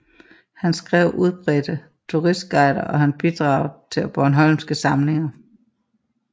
Han skrev udbredte turistguider og har bidraget til Bornholmske Samlinger